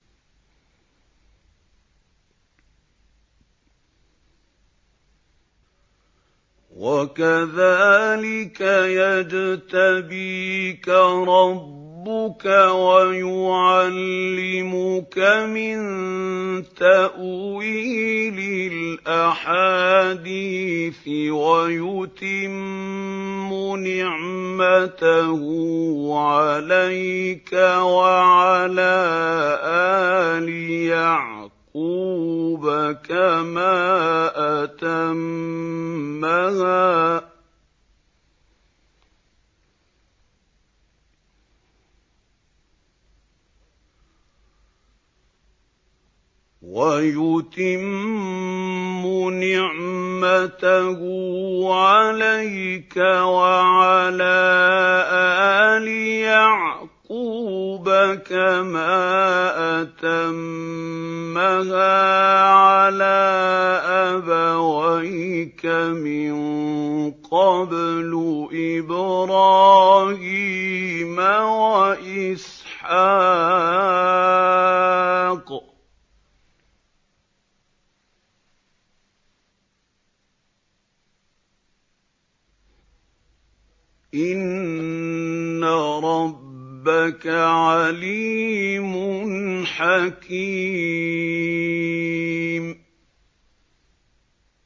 وَكَذَٰلِكَ يَجْتَبِيكَ رَبُّكَ وَيُعَلِّمُكَ مِن تَأْوِيلِ الْأَحَادِيثِ وَيُتِمُّ نِعْمَتَهُ عَلَيْكَ وَعَلَىٰ آلِ يَعْقُوبَ كَمَا أَتَمَّهَا عَلَىٰ أَبَوَيْكَ مِن قَبْلُ إِبْرَاهِيمَ وَإِسْحَاقَ ۚ إِنَّ رَبَّكَ عَلِيمٌ حَكِيمٌ